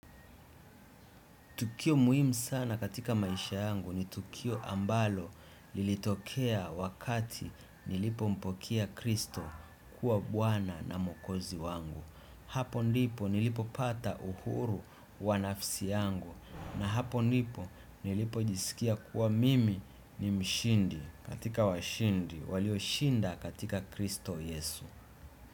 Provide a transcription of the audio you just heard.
Tukio muhimu sana katika maisha yangu ni tukio ambalo lilitokea wakati nlipompokea Kristo kuwa bwana na muokozi wangu. Hapo ndipo nilipo pata uhuru wa nafsi yangu na hapo ndipo nilipo jisikia kuwa mimi ni mshindi katika washindi walio shinda katika kristo Yesu.